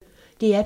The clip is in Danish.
DR P1